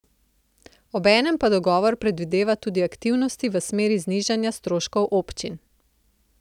Obenem pa dogovor predvideva tudi aktivnosti v smeri znižanja stroškov občin.